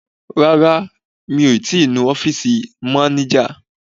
Rárá, mi ò ti nu ọ́fìsì mánéjà